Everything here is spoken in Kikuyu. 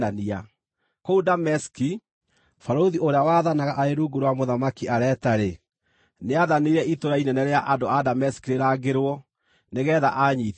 Kũu Dameski, barũthi ũrĩa waathanaga arĩ rungu rwa Mũthamaki Areta-rĩ, nĩathanire itũũra inene rĩa andũ a Dameski rĩrangĩrwo nĩgeetha aanyiitithie.